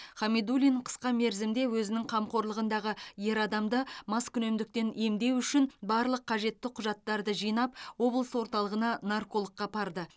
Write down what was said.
хамидуллин қысқа мерзімде өзінің қамқорлығындағы ер адамды маскүнемдіктен емдеу үшін барлық қажетті құжаттарды жинап облыс орталығына наркологқа апарды